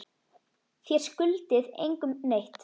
Þér skuldið engum neitt.